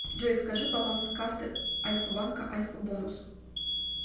джой скажи баланс карты альфа банка альфа бонус